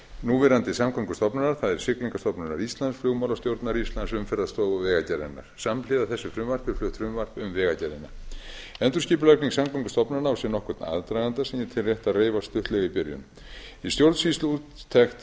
núverandi samgöngustofnunar það er siglingastofnunar íslands flugmálastjórnar íslands umferðarstofu og vegagerðarinnar samhliða þessu frumvarpi er flutt frumvarp um vegagerðina endurskipulagning samgöngustofnana á sér nokkurn aðdraganda sem ég tel rétt að reifa stuttlega í byrjun í